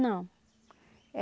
Não.